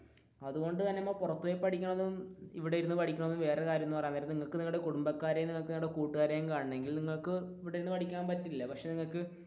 അതുകൊണ്ടു തന്നെ നമ്മൾ പുറത്തു പോയി പഠിക്കുന്നതും ഇവിടെയിരുന്ന് പഠിക്കുന്നതും വേറെ കാര്യം എന്ന് പറയാൻ നേരം നിങ്ങൾക്ക് നിങ്ങളുടെ കുടുംബക്കാരെയും നിങ്ങളുടെ കൂട്ടുകാരെ കാണണമെങ്കിൽ നിങ്ങൾക്ക്